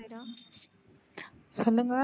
சொல்லுங்க.